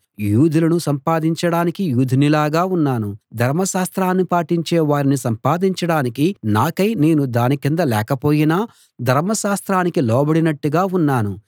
యూదులను సంపాదించడానికి యూదునిలాగా ఉన్నాను ధర్మశాస్త్రాన్ని పాటించే వారిని సంపాదించడానికి నాకై నేను దాని కింద లేకపోయినా ధర్మశాస్త్రానికి లోబడినట్టుగా ఉన్నాను